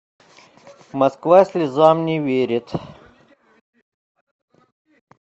москва слезам не верит